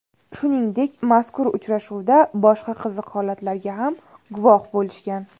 Shuningdek, mazkur uchrashuvda boshqa qiziq holatlarga ham guvoh bo‘lishgan.